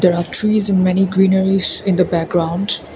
the trees in many greenerys in the background.